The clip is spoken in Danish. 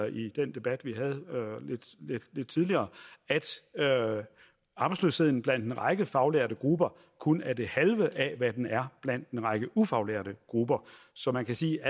i den debat vi havde lidt tidligere at arbejdsløsheden blandt en række faglærte grupper kun er det halve af hvad den er blandt en række ufaglærte grupper så man kan sige at